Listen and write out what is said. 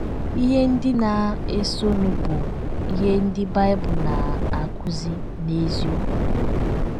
Ihe ndị na - esonụ bụ ihe ndị Bible na - akụzi n’eziokwu.